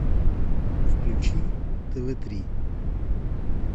включи тв три